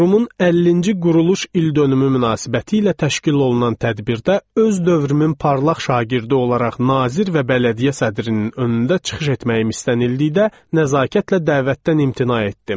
Qurumun 50-ci quruluş ildönümü münasibətilə təşkil olunan tədbirdə öz dövrümün parlaq şagirdi olaraq nazir və bələdiyyə sədrinin önündə çıxış etməyim istənildikdə nəzakətlə dəvətdən imtina etdim.